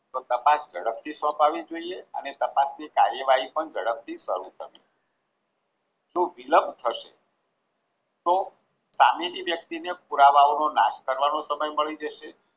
તો તપાસ ઝડપથી સોંપવી જોઈએ અને તપાસની કાર્યવાહી પણ ઝડપથી શરૂ થતી હોય તો વિલંબ થશે તો સામેની વ્યક્તિને પુરાવાનો નાશ કરવાનો સમય મળી જશે